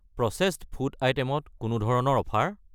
Processed food item ত কোনো ধৰণৰ অফাৰ?